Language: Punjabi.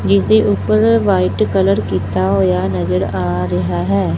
ਜਿਸਦੇ ਉੱਪਰ ਵਾਈਟ ਕਲਰ ਕੀਤਾ ਹੋਇਆ ਨਜਰ ਆ ਰਿਹਾ ਹੈ।